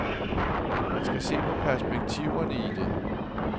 Man skal se perspektiverne i det.